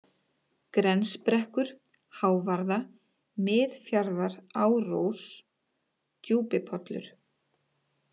Grensbrekkur, Hávarða, Miðfjarðarárós, Djúpipollur